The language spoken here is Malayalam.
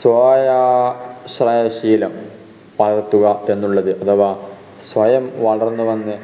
സ്വായാശ്ര ശീലം വളർത്തുക എന്നുള്ളത് അഥവാ സ്വയം വളർന്നു വന്ന്